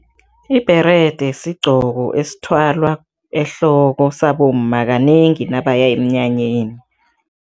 Ibherede sigqoko esithwalwa ehloko sabomma, kanengi nabaya emnyanyeni.